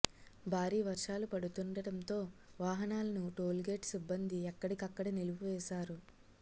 భారీ వర్షాలు పడుతుండటంతో వాహనాలను టోల్ గేట్ సిబ్బంది ఎక్కడికక్కడ నిలిపివేశారు